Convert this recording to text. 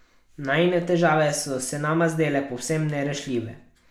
Najine težave so se nama zdele povsem nerešljive.